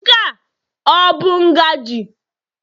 Nke a ọ bụ ngaji?